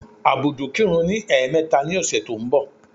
Ábúdù kirun ní ẹ̀ẹ̀mẹta ní ọ̀sẹ̀ tó ń bọ̀.